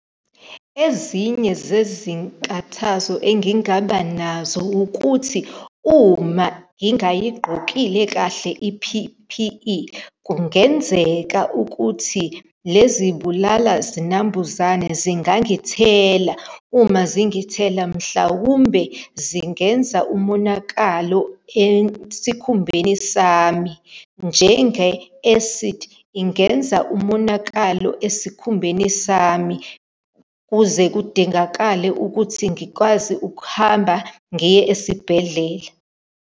Ezinye zezinkathazo engingaba nazo ukuthi uma ngingayigqokile kahle i-P_P_E, kungenzeka ukuthi lezi bulalazinambuzane zingangithela. Uma zingithela, mhlawumbe zingenza umonakalo esikhumbeni sami, njenge-acid, ingenza umonakalo esikhumbeni sami, kuze kudingakale ukuthi ngikwazi ukuhamba ngiye esibhedlela.